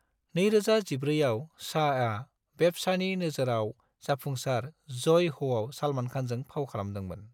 2014 आव, शाहआ बेब्सानि नोजोराव जाफुंसार जय ह'आव सालमान खानजों फाव खालामदोंमोन।